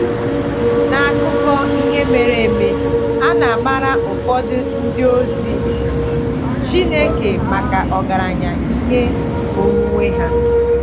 “N’akụkọ ihe mere eme, a na-amara ụfọdụ ndị ozi Chineke maka ọgaranya ihe onwunwe ha.”